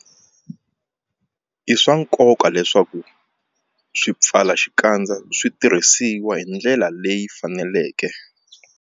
I swa nkoka leswaku swipfalaxikandza swi tirhisiwa hi ndlela leyi faneleke.